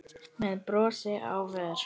með brosi á vör.